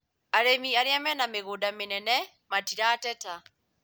Arĩmi arĩa mena mĩgũnda mĩnene matirateta